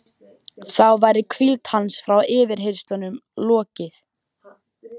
Þá væri hvíld hans frá yfirheyrslunum lokið.